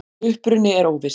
Uppruni er óviss.